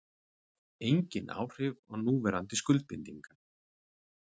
Engin áhrif á núverandi skuldbindingar